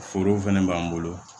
Forow fɛnɛ b'an bolo